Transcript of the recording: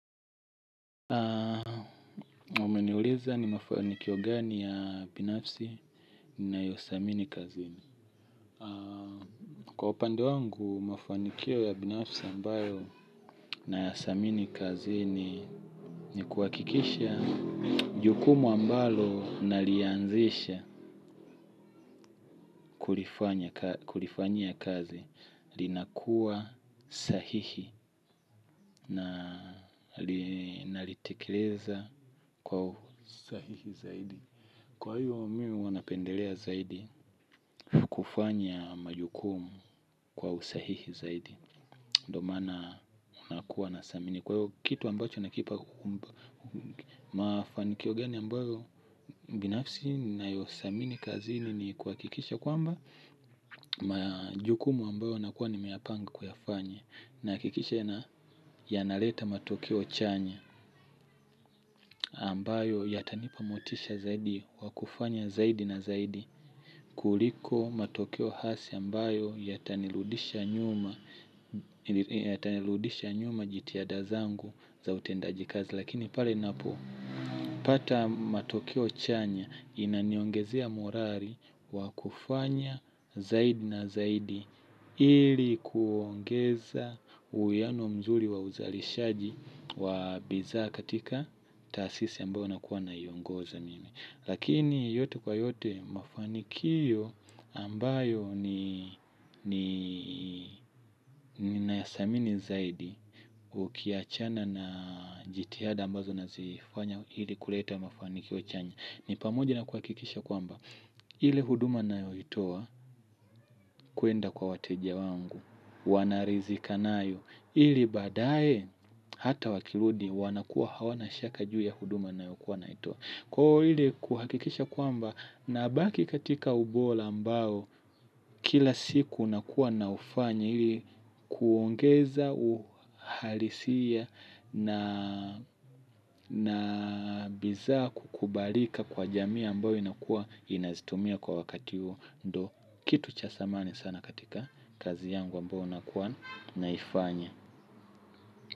Umeniuliza ni mafanikio gani ya binafsi ninayothamini kazini. Kwa upande wangu, mafanikio ya binafsi ambayo ninayathamini kazini ni kuhakikisha jukumu ambalo nalianzisha kulifanyia kazi linakuwa sahihi na linalitekeleza kwa usahihi zaidi. Kwa hivyo mimi huwa napendelea zaidi kufanya majukumu kwa usahihi zaidi ndiyo maana unakuwa na thamini kwa hivyo kitu ambacho nakipa. Mafanikio gani ambayo binafsi ninayothamini kazini ni kuhakikisha kwamba majukumu ambayo nakuwa nimeyapanga kuyafanya. Nahakikisha yanaleta matokeo chanya ambayo yatanipa motisha zaidi wakufanya zaidi na zaidi kuliko matokeo hasi ambayo yatanirudisha nyuma. Yatarudisha nyuma jitihada zangu za utendaji kazi. Lakini pale ninapopata matokeo chanya inaniongezea morali wakufanya zaidi na zaidi ili kuongeza uhiano mzuri wa uzalishaji wa bidhaa katika tasisi ambayo nakua nayoongoza mimi. Lakini yote kwa yote mafanikio ambayo ni ninathamini zaidi ukiachana na jitihada ambazo nazifanya ili kuleta mafanikio chanya. Ni pamoja na kuhakikisha kwamba ile huduma nayoitoa kwenda kwa wateja wangu. Wanaridhika nayo ili baadaye hata wakirudi wanakuwa hawana shaka juu ya huduma ninayokuwa ninayoitoa. Kwao ile kuhakikisha kwamba nabaki katika ubora ambao kila siku nakuwa na ufanya hili kuongeza uhalisia na bidhaa kukubalika kwa jamii ambayo inakuwa inazitumia kwa wakati huo. Kitu cha thamani sana katika kazi yangu ambao nakuwa naifanya.